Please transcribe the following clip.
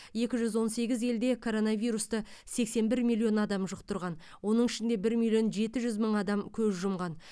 екі жүз он сегіз елде коронавирусты сексен бір миллион адам жұқтырған оның ішінде бір миллион жеті жүз мың адам көз жұмған